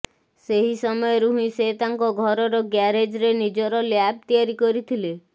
ସେହି ସମୟରୁ ହେିଁ ସେ ତାଙ୍କ ଘରର ଗ୍ୟାରେଜରେ ନିଜର ଲ୍ୟାବ ତିଆରି କରିଥିଲେ